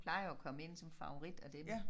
Plejer at komme ind som favorit og det